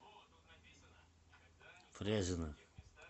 фрязино